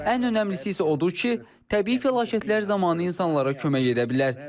Ən önəmlisi isə odur ki, təbii fəlakətlər zamanı insanlara kömək edə bilər.